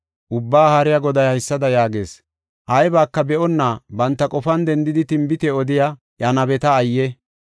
Ubbaa Haariya Goday haysada yaagees: ‘Aybaka be7onna banta qofan dendidi tinbite odiya eeya nabeta ayye!’